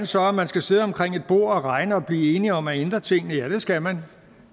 så at man skal sidde omkring et bord og regne og blive enige om at ændre tingene ja det skal man